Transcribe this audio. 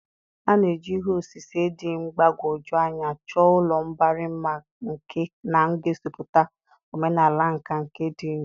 A na-eji ihe osise dị mgbagwoju anya chọọ ụlọ mbari mma nke na-egosipụta omenala nka nke ndị Igbo.